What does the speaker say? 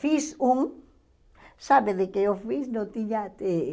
Fiz um, sabe de que eu fiz? Eu tinha eh